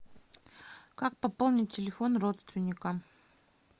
как пополнить телефон родственника